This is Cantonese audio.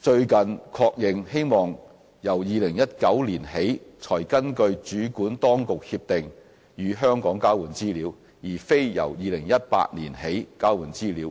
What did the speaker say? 最近確認，希望由2019年起才根據主管當局協定與香港交換資料，而非由2018年起交換資料。